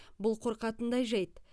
бұл қорқатындай жайт